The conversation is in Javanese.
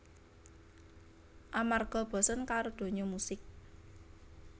Amarga bosen karo donya musik